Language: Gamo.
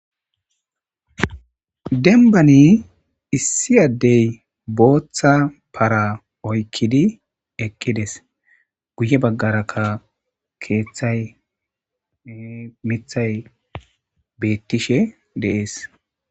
denbani issi addey booththa para oykkidi ekkides guye baggarakka keeththay mithay beettishe deees